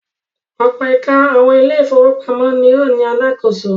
Ọ̀pọ̀ ẹ̀ka àwọn ilé-ìfowópamọ́sí ni ó ní alákòóso.